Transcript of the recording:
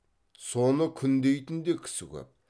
соны күндейтін де кісі көп